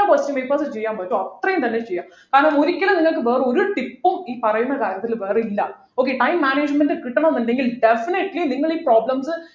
എത്ര question papers ചെയ്യാൻപറ്റുമോ അത്രയും തന്നെ ചെയ്യാ കാരണം ഒരിക്കലും നിങ്ങൾക്ക് വേറെ ഒരു tip ഉം ഈ പറയുന്ന കാര്യത്തിൽ വേറെയില്ല okay time management കിട്ടണമെന്നുണ്ടെങ്കിൽ definitely നിങ്ങൾ ഈ problems